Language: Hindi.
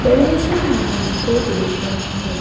बड़े से मैदान को देख रहे हैं।